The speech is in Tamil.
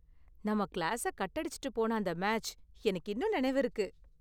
நாம கிளாஸை கட் அடிச்சுட்டு போன அந்த மேட்ச் எனக்கு இன்னும் நினைவிருக்கு.